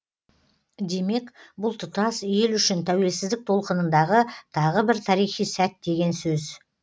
демек бұл тұтас ел үшін тәуелсіздік толқынындағы тағы бір тарихи сәт деген сөз